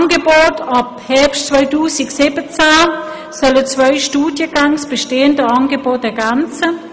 Ab Herbst 2017 sollen zwei Studiengänge das bestehende Angebot ergänzen.